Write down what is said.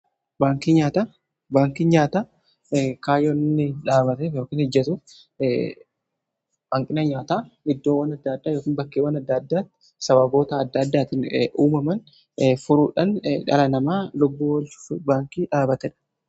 baankiin nyaataa kaayoon inni dhaabbatef baankii nyaataa rakkoo iddoowwan adda addaa yookiin bakkeewwan adda addaatti sababoota adda addaatiin uumaman furuudhaan dhala namaa lubbuu oolchuuf baankii dhaabatedha.